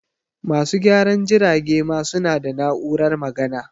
Masu gyaran jirage ma su na da na'urar magana